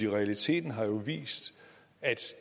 realiteten har jo vist at